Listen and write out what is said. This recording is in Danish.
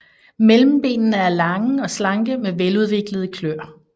Mellembenene er lange og slanke med veludviklede kløer